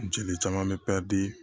Jeli caman bɛ